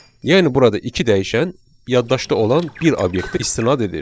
Yəni burada iki dəyişən yaddaşda olan bir obyektə istinad edir.